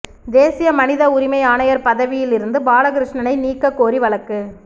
தேசிய மனித உரிமை ஆணையர் பதவியிலிருந்து பாலகிருஷ்ணனை நீக்கக் கோரி வழக்கு